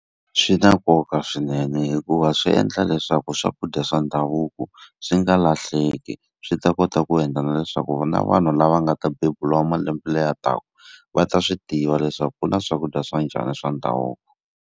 Swi na nkoka swinene hikuva swi endla leswaku swakudya swa ndhavuko swi nga lahleki, swi ta kota ku endla na leswaku na vanhu lava nga ta beburiwa malembe leyi taka, va ta swi tiva leswaku ku na swakudya swa njhani swa ndhavuko.